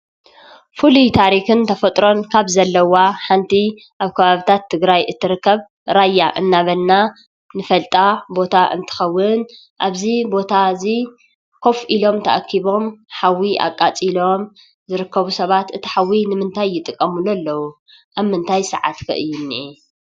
ፍሉይ ታሪክን ተፈጥሮን ካብ ዘለዋ ሓንቲ ኣብ ከባቢታት ትግራይ ትርከብ ራያ እንዳበልና ንፈልጣ ቦታ እንትኸውን ኣብዚ ቦታ እዚ ኮፍ ኢሎም ተኣኪቦም ሓዊ ኣቃፂሎም ዝርከቡ ሰባት እቲ ሓዊ ንምንታይ ይጥቀምሉ ኣለዉ? ኣብ ምንታይ ሰዓት ከ እዩ ዝንሄ?